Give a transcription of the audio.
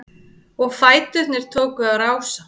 Og fæturnir tóku að rása-